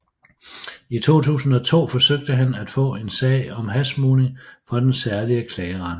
I 2002 forsøgte han at få en sag om hashsmugling for den særlige klageret